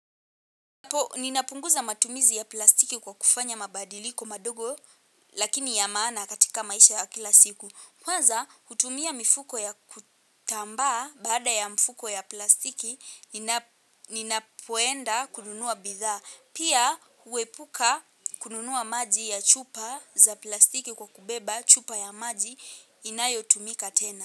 Ninapunguza matumizi ya plastiki kwa kufanya mabadiliko madogo lakini ya maana katika maisha ya kila siku. Kwanza hutumia mifuko ya kutambaa baada ya mfuko ya plastiki ninapoenda kununua bidhaa. Pia huepuka kununua maji ya chupa za plastiki kwa kubeba chupa ya maji inayo tumika tena.